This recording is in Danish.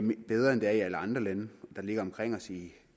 bedre end i alle andre lande omkring os i